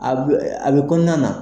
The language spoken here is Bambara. A bɛ a bɛ kɔnɔna na.